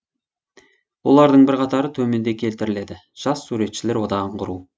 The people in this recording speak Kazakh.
олардың бірқатары төменде келтіріледі жас суретшілер одағын құру